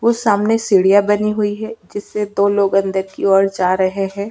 वो सामने सीढियाँ बनी हुई है जिससे दो लोग अंदर की ओर जा रहे है।